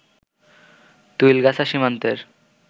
তুলইগাছা সীমান্তের